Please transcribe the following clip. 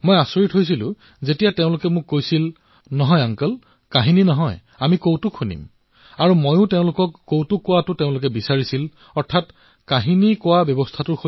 মই আচৰিত হৈ গৈছিল যেতিয়া শিশুসকলে মোক কৈছিল নহয় খুড়া নহয় সাধু নহয় আমি কৌতুক শুনাম আৰু মোকো তেওঁলোকে এয়াই কৈছিল যে খুড়া আপুনিও আমাক কৌতুক শুনাওক